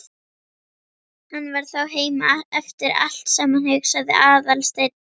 Hann var þá heima eftir allt saman, hugsaði Aðalsteinn.